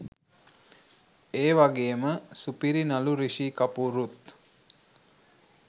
ඒවගේම සුපිරි නලු රිශී කපූරුත්